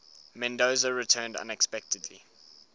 mendoza returned unexpectedly